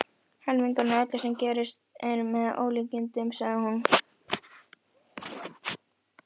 Helmingurinn af öllu sem gerist er með ólíkindum, sagði hún.